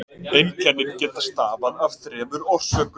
einkennin geta stafað af þremur orsökum